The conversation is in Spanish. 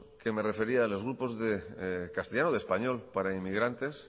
que me refería en los grupos de castellano de español para emigrantes